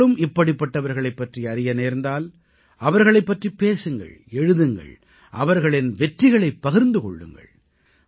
நீங்களும் இப்படிப்பட்டவர்களைப் பற்றி அறிய நேர்ந்தால் அவர்களைப் பற்றிப் பேசுங்கள் எழுதுங்கள் அவர்களின் வெற்றிகளைப் பகிர்ந்து கொள்ளுங்கள்